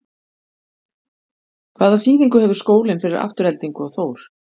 Hvaða þýðingu hefur skólinn fyrir Aftureldingu og Þór?